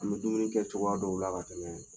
An bɛ dumuni kɛ cogoya dɔw la ka tɛmɛ.